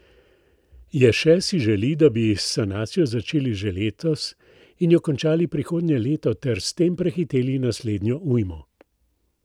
Ješe si želi, da bi s sanacijo začeli že letos in jo končali prihodnje leto ter s tem prehiteli naslednjo ujmo.